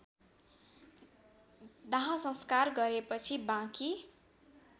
दाहसंस्कार गरेपछि बाँकी